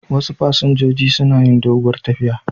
Wasu fasinjojin suna yi doguwar tafiya.